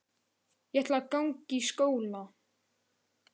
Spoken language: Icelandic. Ég ætla að ganga í skóla.